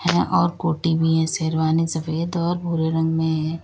यहां और कोटी भी है शेरवानी सफेद और भूरे रंग में है।